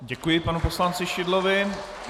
Děkuji panu poslanci Šidlovi.